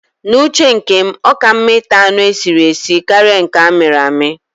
N'uche nke m, ọ ka mma ịta anụ esiri esi karịa nke amịrị amị